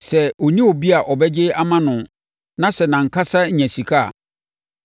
Sɛ ɔnni obi a ɔbɛgye ama no na sɛ nʼankasa nya sika a,